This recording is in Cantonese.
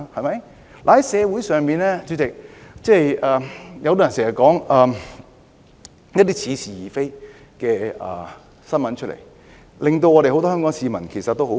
主席，社會上經常流傳一些似是而非的新聞，令很多香港市民感到氣憤。